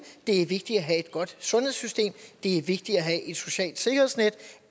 det er vigtigt at have et godt sundhedssystem det er vigtigt at have et socialt sikkerhedsnet